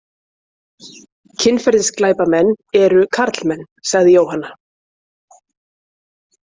Kynferðisglæpamenn eru karlmenn, sagði Jóhanna.